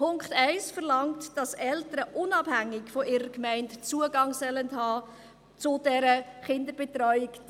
Der Punkt 1 verlangt, dass Eltern unabhängig von ihrer Gemeinde Zugang zu dieser Kinderbetreuung haben sollen.